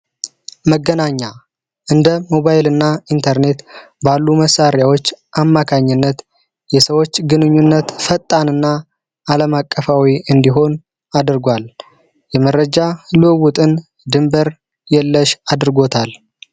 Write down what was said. መገናኛ እንደ ሞባይል እና ኢንተርኔት ባሉ መሳሪያዎች አማካኝነት የሰዎች ግንኙነት ፈጣንና አለምአቀፋዊ እንዲሆን አድርጓል የመረጃ ለውውጥን ድንበር የለሽ አድርጎታል።